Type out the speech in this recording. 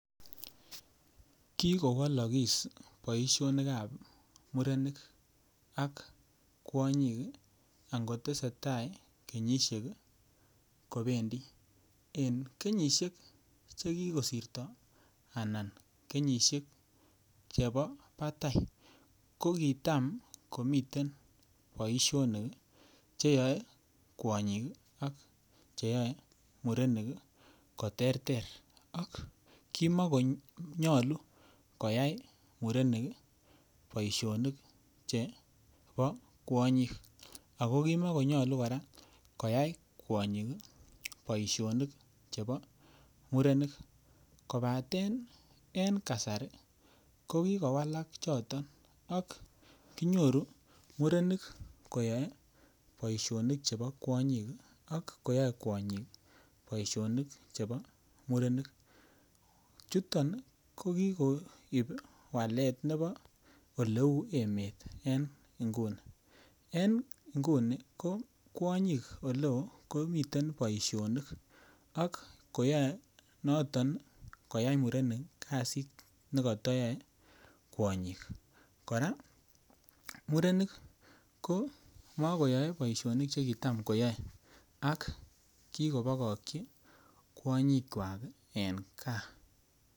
Kikowolokis boishonikab murenik ak kwonyik angotesi tai kenyishek kobendi en kenyishek chekikosirto anan kenyishek chebo batai ko kitam komiten boishonik cheyoei kwonyik ak cheyoei murenik koterter ak kimikonyolu koyai murenik boishonik chebo kwonyik ako kimikonyolu kora koyai kwonyik boishonik chebo murenik kobaten en kasari ko kikowalak choton ak kinyoru murenik koyoei boishonik chebo kwonyik ak koyoei kwonyik boishonik chebo murenik chuton ko kikoib walet nebo oleu emet eng' nguni eng' nguni ko kwonyi komiten boishonik ak koyoei noton koyai murenik kasit nekatayoei kwonyik kora murenik komakoyoei boishonik che kitam koyoei ak kikobokokchin kwanyikwak eng' kaa.